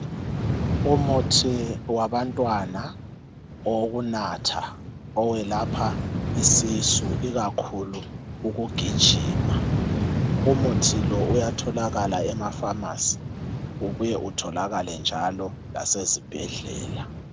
Umuthi wabantwana owokunatha owelapha isisu ikakhulu ukugijima Umuthi lo uyatholakala ema pharmacy ubuye utholakale njalo lasezibhedlela